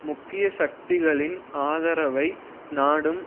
முக்கிய சக்திகளின் ஆதரவை நாடும்